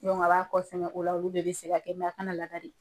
Dɔnku a b'a kɛ sɛmɛ o la , olu de bɛ se ka kɛ kana laniari